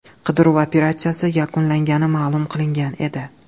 Qidiruv operatsiyasi yakunlangani ma’lum qilingan edi .